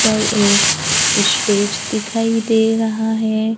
पर एक स्टेज दिखाई दे रहा है।